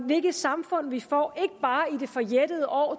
hvilket samfund vi får ikke bare i det forjættede år